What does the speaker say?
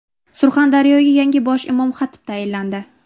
Surxondaryoga yangi bosh imom-xatib tayinlandi.